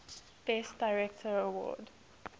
best director award